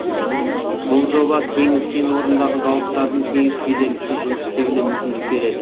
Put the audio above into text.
бұл жоба теңіз кен орнындағы зауыттардың тегіс кедергісіз жұмыс істеуіне мүмкіндік береді